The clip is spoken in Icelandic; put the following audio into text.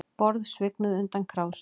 Borð svignuðu undan krásum